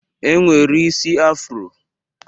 E nwere isi Afro.